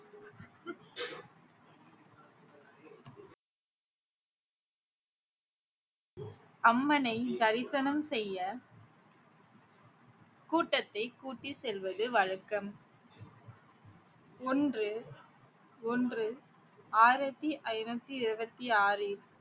அம்மனை தரிசனம் செய்ய கூட்டத்தை கூட்டி செல்வது வழக்கம் ஒன்று ஒன்று ஆயிரத்தி ஐநூத்தி இருவத்திஆறில்